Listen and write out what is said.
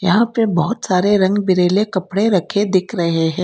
यहां पे बहोत सारे रंग बिरेले कपड़े रखे दिख रहे हैं।